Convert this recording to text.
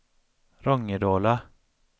Rångedala